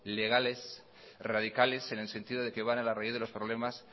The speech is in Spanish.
legales radicales en el sentido de que van a la raíz de los problemas